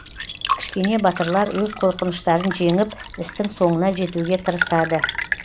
кішкене батырлар өз қорқыныштарын жеңіп істің соңына жетуге тырысады